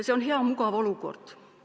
See on hea mugav olukord.